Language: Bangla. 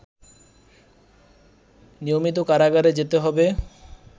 নিয়মিত কারাগারে যেতে হবে